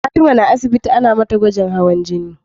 Fatima na asibiti Ana mata gwajin hawan jini